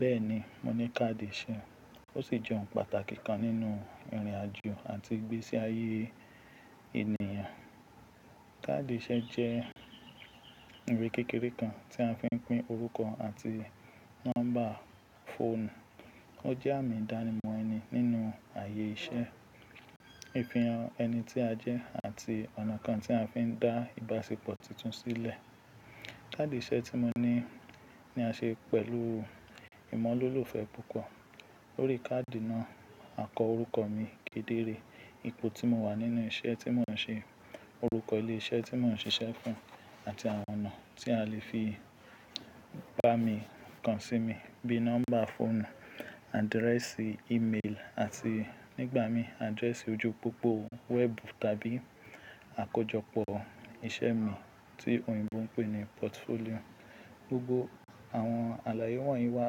Bẹ́ẹ̀ni, mo ní káàdì iṣẹ́, ó sì jẹ́ ohun pàtàkì kan nínú ìrìn àjò àti ìgbésí ayé ènìyàn. Káàdì iṣẹ́ jẹ́ ìwé kékeré kan tí a fi ń pín orúkọ àti nọ́mbà fóònù. Ó jẹ́ àmì ìdánimọ̀ ẹni nínú ààyè iṣẹ́, àfihàn ẹni tí a jẹ́ àti ọ̀nà kan tí a fi ń dá ìbáṣepọ̀ tuntun sílẹ̀. Káàdì iṣẹ́ tí mo ní ni a ṣe pẹ̀lú ìmọ́lọ́lúfẹ́ púpọ̀. Lórí káàdì náà, a kọ orúkọ mi kedere, ipò tí mo wà nínú iṣẹ́ tí mò ń ṣe, orúkọ ilé iṣẹ́ tí mò ń ṣiṣẹ́ fún àti àwọn ọ̀nà tí a lè fi bá mi kan sí mi bíi nọ́mbà fóònù, àdírẹ́sì ímeèlì àti nígbà mí, àdírẹ́sì ojú pópó wẹ́ẹ̀bù tàbí àkójọpọ̀ iṣẹ́ mi tí òyìnbó ń pè ní pọ́tufólì. Gbogbo àwọn àlàyé wọ̀nyí wà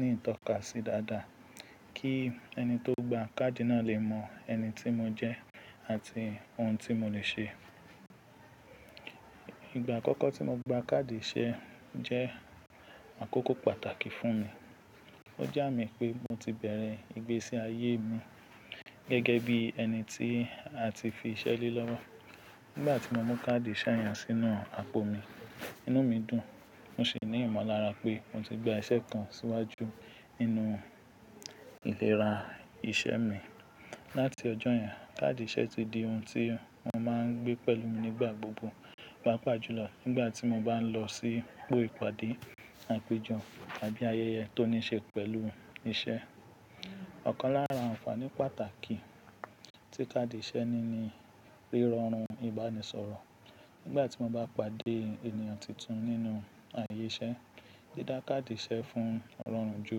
ní ìtọ́kasí dáadáa kí ẹni tó gba káàdì náà lè mọ ẹni tí mo jẹ́ àti ohun tí mo lè ṣe. Ìgbà àkọ́kọ́ tí mo gba káàdì iṣẹ́ jẹ́ àkókò pàtàkì fún mi. Ó jẹ́ àmì pé mo ti bẹ̀rẹ̀ ìgbésí ayé mi gẹ́gẹ́ bí ẹni tí a ti fi iṣẹ́ lé lọ́wọ́. Nígbà tí mo mú káàdì iṣẹ́ yẹn sínú àpò mi, inú mi dùn, mo sì ní ìmọ̀lára pé mo ti gba iṣẹ́ kan síwájú nínú ìlera iṣẹ́ mi. Láti ọjọ́ yẹn, káàdì iṣẹ́ ti di ohun tí mo máa ń gbé pẹ̀lú mi nígbà gbogbo, pàápàá jùlọ nígbà tí mo bá ń lọ sí gbòò ìpàdé àpèjọ tàbí ayẹyẹ tó ní ṣe pẹ̀lú iṣẹ́. Ọ̀kan lára àǹfààní pàtàkì tí káàdì iṣẹ́ ní ni ríran ìbánisọ̀rọ̀. Nígbà tí mo bá pàdé ènìyàn tuntun nínú ààyè iṣẹ́, dí dá káàdì iṣẹ́ fún wọn rọrùn ju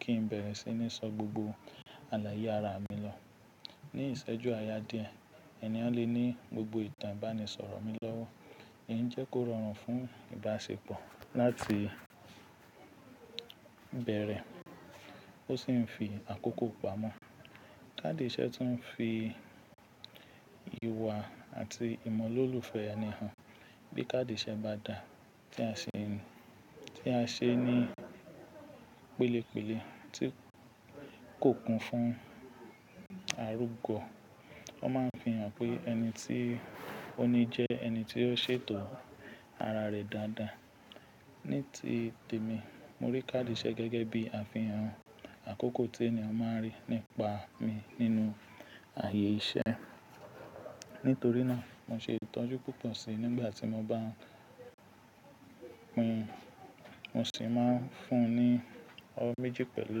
kí n bẹ̀rẹ̀ sí ní sọ gbogbo àlàyé ara mi lọ. Ní ìṣẹ́jú àyà díẹ̀, ènìyàn lè ní gbogbo ìtàn ìbánisọ̀rọ̀ mi lọ́wọ́ èyí ń jẹ́ kó rọrùn fún ìbáṣepọ̀ láti bẹ̀rẹ̀ ó sì ń fi àkókò pamọ́. Káàdì iṣẹ́ tún ń fi ìwà àti ìmọ̀ lọ́lúfẹ́ ènìyàn hàn. Bí káàdì iṣẹ́ bá dà, tí a ṣe ní, tí a ṣe ní pélépèle tí kò kún fún arúgbó, wọ́n máa ń fihàn pé ẹni tí ó ni jẹ́ ẹni tí ó ṣètò ara rẹ̀ dáadáa. Ní ti tèmi, mo rí káàdì iṣẹ́ gẹ́gẹ́ bí àfihàn àkọ́kọ́ tí ènìyàn máa rí nípa mi nínú ààyè iṣẹ́. Nítorí náà, mo ṣe ìtọ́jú púpọ̀ sí i nígbà tí mo bá ń pín, mo sì máa ń fún un ní ọwọ́ méjì pẹ̀lú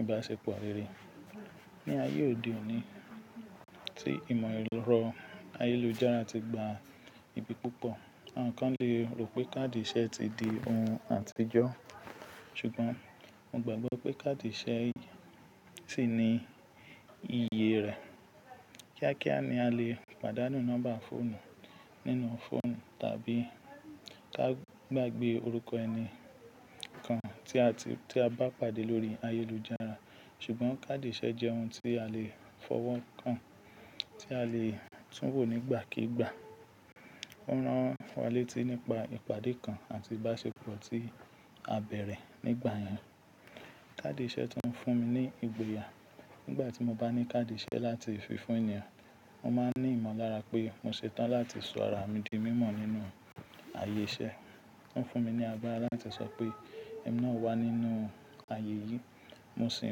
ìbáṣepọ̀ rere. Ní ayé òde òní tí ìmọ̀ erọ̀ ayélujára ti gba ibi púpọ̀, àwọn kan lè rò pé káàdì iṣẹ́ ti di ohun àtijọ́. Ṣùgbọ́n mo gbàgbọ́ pé káàdì iṣẹ́ sì ní iyi rẹ̀. Kíákíá ni a lè pàdánù nọ́mbà fóònù nínú fóònù tàbí ká gbàgbé orúkọ ẹni kan tí a bá pàdé lórí ayélujára. Ṣùgbọ́n káàdì iṣẹ́ jẹ́ ohun tí a lè fọwọ́ kàn, tí a lè túnwò nígbàkígbà. Ó rán wa létí nípa ìpàdé kan àti ìbáṣepọ̀ tí a bẹ̀rẹ̀ nígbà yẹn. Káàdì iṣẹ́ tún ń fún mi ní ìgboyà. Nígbà tí mo bá ní káàdì iṣẹ́ láti fi fún ènìyàn, mo máa ní ìmọ̀lára pé mo ṣetán láti sọ ara mi di mímọ̀ nínú ààyè iṣẹ́. Ó ń fún mi ní agbára láti sọ pé "Èmi náà wà nínú ààyè yìí" mo sì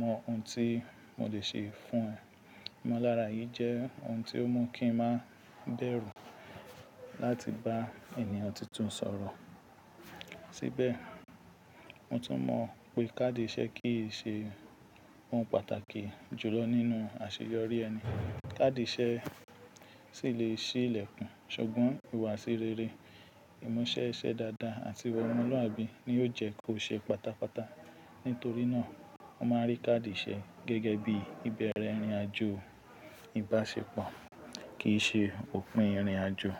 mọ ohun tí mo lè ṣe fún wọn. Ìmọ̀lára yìí jẹ́ ohun tí ó mú kí n máa dẹrù láti bá ènìyàn tuntun sọ̀rọ̀. Síbẹ̀, mo tún mọ̀ pé káàdì iṣẹ́ kì í ṣe ohun pàtàkì jùlọ nínú àṣeyọrí ẹni. Káàdì iṣẹ́ sì lè ṣí ìlẹ̀kùn, ṣùgbọ́n ìhùwàsí rere, ìmu iṣẹ́ iṣẹ́ dáadáa àti iwa ọlọ́luwabi ni ó jẹ́ kó ṣe pátápátá. Nítorí náà, mo máa rí káàdì iṣẹ́ gẹ́gẹ́ bí ìbẹ̀rẹ̀ ìrìnàjò ìbáṣepọ̀ kì í ṣe òpin ìrìnàjò.